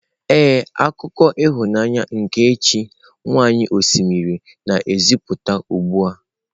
Ee, akụkọ ịhụnanya nke chi nwanyị osimiri na-egosipụta ugbu a.